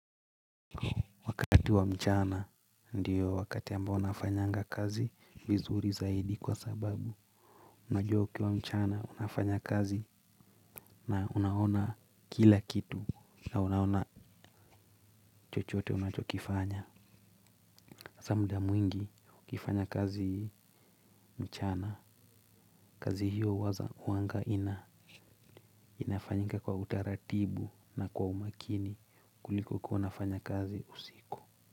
Wakati wa mchana ndiyo wakati ambao nafanyanga kazi vizuri zaidi kwa sababu unajua ukiwa mchana unafanya kazi na unaona kila kitu na unaona chochote unachokifanya. Asa mda mwingi ukifanya kazi mchana kazi hiyo huwaza huanga ina inafanyika kwa utaratibu na kwa umakini kuliko kuwa unafanya kazi usiku.